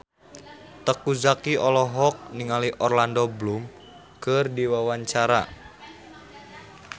Teuku Zacky olohok ningali Orlando Bloom keur diwawancara